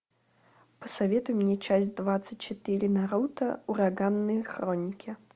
посоветуй мне часть двадцать четыре наруто ураганные хроники